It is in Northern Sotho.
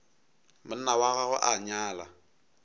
monna wa gagwe a nyala